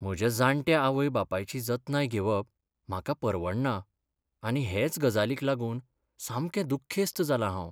म्हज्या जाणट्या आवय बापायची जतनाय घेवप म्हाका परवडना आनी हेच गजालीक लागून सामकें दुखेस्त जालां हांव.